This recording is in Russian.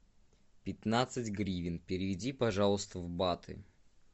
пятнадцать гривен переведи пожалуйста в баты